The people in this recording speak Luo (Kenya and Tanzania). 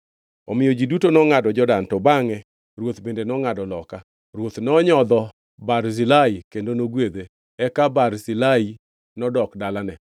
Omiyo ji duto nongʼado Jordan, to bangʼe ruoth bende nongʼado loka. Ruoth nonyodho Barzilai kendo nogwedhe, eka Barzilai nodok dalane.